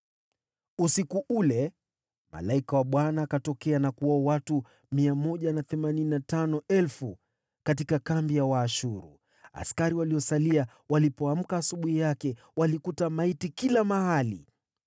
Usiku ule, malaika wa Bwana akaenda, akawaua wanajeshi 185,000 katika kambi ya Waashuru. Wenzao walipoamka asubuhi yake, walikuta maiti kila mahali!